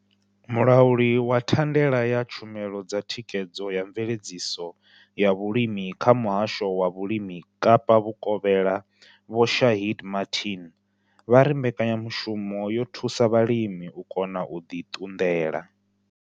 Mulauli wa thandela ya tshumelo dza thikhedzo na mveledziso ya vhulimi kha Muhasho wa Vhulimi Kapa Vhukovhela Vho Shaheed Martin vha ri mbekanya mushumo yo thusa vhalimi u kona u ḓi ṱunḓela.